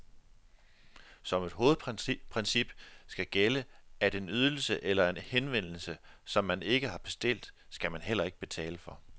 Som et hovedprincip skal gælde, at en ydelse eller en henvendelse, som man ikke har bestilt, skal man heller ikke betale for.